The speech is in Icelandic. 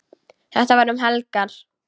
Þetta var um helgar.